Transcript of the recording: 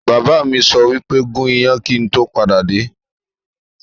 Bàbá mi sọ wípé 'gún iyán kíì tó padà dé!